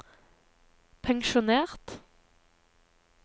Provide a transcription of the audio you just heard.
pensjonert